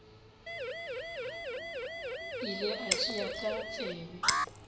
ile a tšea ka tsebe